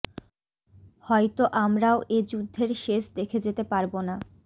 হয়ত আমরাও এ যুদ্ধের শেষ দেখে যেতে পারব না